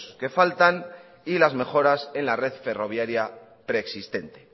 que faltan y las mejoras en la red ferroviaria preexistente